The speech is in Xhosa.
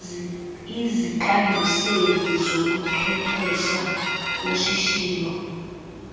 iziqanduseli zobuchwephesha boshishino